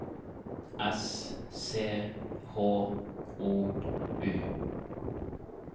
S C H O U